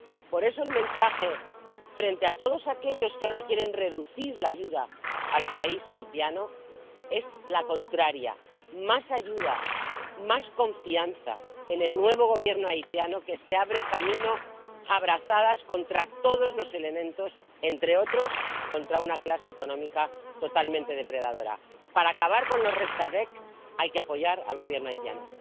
Por eso el mensaje frente a todos aquellos que ahora quieren reducir la ayuda al país haitiano es el contrario más ayuda, más confianza en el nuevo Gobierno haitiano que se abre camino a brazadas contra todos los elementos, entre otros, contra una clase económica totalmente depredadora. Para acabar con los restaveks, hay que apoyar al Gobierno haitiano.